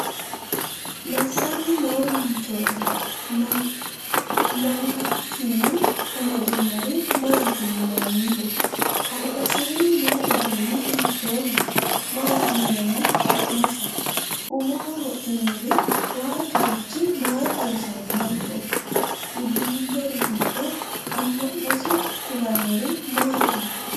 Massanni noo manchooti m angasinni amadinori maati yinanniho? Albasiinni noo uduunni hiittooho? Maati yinanni su'masi? Umoho wodhinori waajjurichi maa xawisannoho? Uddirinnori giddo ama"nosi kulannori maati?